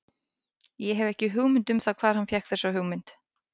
Ég hef ekki hugmynd um það hvar hann fékk þessa hugmynd.